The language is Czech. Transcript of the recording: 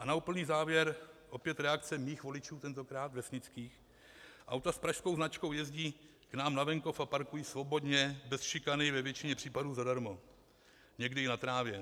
A na úplný závěr opět reakce mých voličů, tentokrát vesnických: "Auta s pražskou značkou jezdí k nám na venkov a parkují svobodně bez šikany ve většině případů zadarmo, někdy i na trávě.